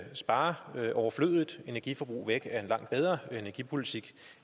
spare overflødigt energiforbrug væk er en langt bedre energipolitik